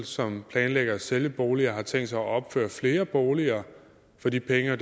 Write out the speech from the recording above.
som planlægger at sælge boliger har tænkt sig at opføre flere boliger for de penge og